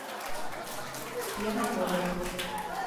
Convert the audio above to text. пьянковой